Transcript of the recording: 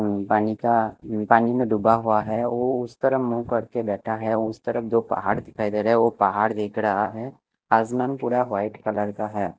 पानी का पानी में डूबा हुआ है वो उस तरफ मु करके लेता हुआ है उस तरफ दो पहाड़ दिखाई दे रहे है वो पहाड़ देख रहा है आसाम पूरा वाइट कलर का है।